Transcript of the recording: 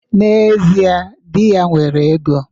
N'ezie, di ya nwere ego.